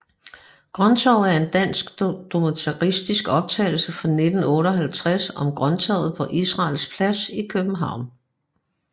Grønttorvet er en dansk dokumentarisk optagelse fra 1958 om Grønttorvet på Israels Plads i København